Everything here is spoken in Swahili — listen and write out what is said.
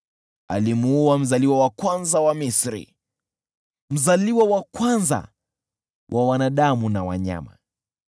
Alimuua mzaliwa wa kwanza wa Misri, mzaliwa wa kwanza wa wanadamu na wanyama.